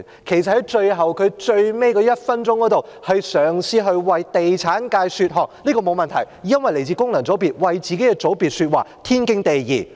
其實，他在最後1分鐘嘗試為地產界說項，這樣沒有問題，因為他來自功能界別，為自己的界別說話，是天經地義的。